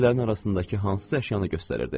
Mebellərin arasındakı hansısa əşyanı göstərirdi.